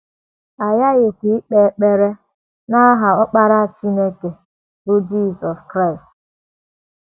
um A ghaghịkwa ikpe um ekpere n’aha Ọkpara Chineke um, bụ́ Jizọs Kraịst.